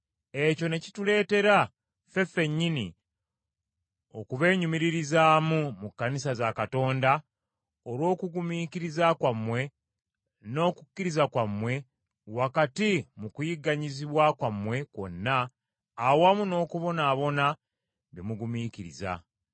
ekyo ne kituleetera ffe ffennyini okubeenyumiririzaamu mu kkanisa za Katonda olw’okugumiikiriza kwammwe n’okukkiriza kwammwe wakati mu kuyigganyizibwa kwammwe kwonna awamu n’okubonaabona bye mugumiikiriza.